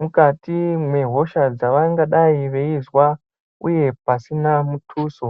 mukati mwehosha dzavangadai veizwa uye pasina mutuso.